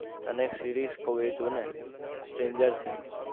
તને series કુવ એ જોને stranger things